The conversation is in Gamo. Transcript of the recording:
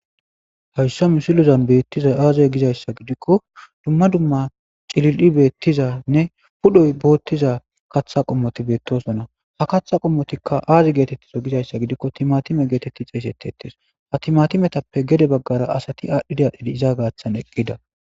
hayssa misilezan bettizay aze gizayssa gidikko dumma dumma cillili beettizanne pudhdhoy boottiza kaththa qommoti beettosonna ha kaththa qommotikka aazi geetettizo gizayssa gidikko timatime geetetti xessettetees ha timatimetappe gede baggara asati aadhdhidi adhdhdi iza gaaththan eqqida